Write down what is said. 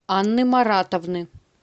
анны маратовны